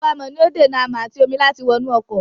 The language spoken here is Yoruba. Ààbò-amọ̀ ni ó dènà amọ̀ àti omi láti wọnú ọkọ̀.